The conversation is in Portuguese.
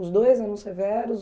Os dois eram severos?